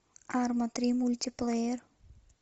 арма три мультиплеер